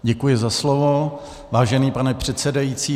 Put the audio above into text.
Děkuji za slovo, vážený pane předsedající.